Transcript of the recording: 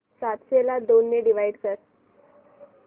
सातशे ला दोन ने डिवाइड कर